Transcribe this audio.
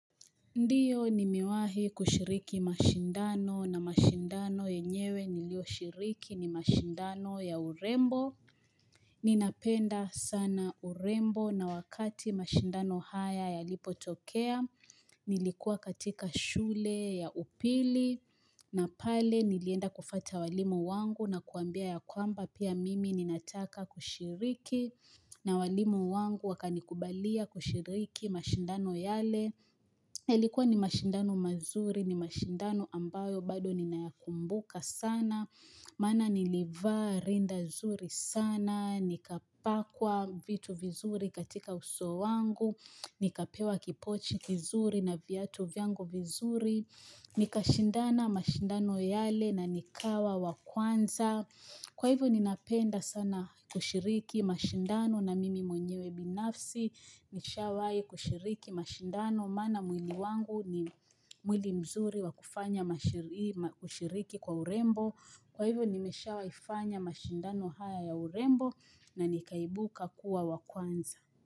Ndiyo nimewahi kushiriki mashindano na mashindano yenyewe nilioshiriki ni mashindano ya urembo. Ninapenda sana urembo na wakati mashindano haya ya lipotokea, nilikuwa katika shule ya upili na pale nilienda kufata walimu wangu na kuwambia ya kwamba pia mimi ninataka kushiriki na walimu wangu wakani kubalia kushiriki mashindano yale. Ilikuwa ni mashindano mazuri, ni mashindano ambayo bado ninayakumbuka sana, maana nilivaa rinda zuri sana, nikapakwa vitu vizuri katika uso wangu, nikapewa kipochi kizuri na viatu vyangu vizuri, nikashindana mashindano yale na nikawa wakwanza. Kwa hivo ninapenda sana kushiriki mashindano na mimi mwenyewe binafsi nishawahi kushiriki mashindano maana mwili wangu ni mwili mzuri wa kufanya kushiriki kwa urembo Kwa hivo nimesha waifanya mashindano haya ya urembo na nikaibuka kuwa wakwanza.